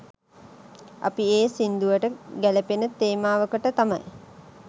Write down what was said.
අපි ඒ සිංදුවට ගැලපෙන තේමාවකට තමයි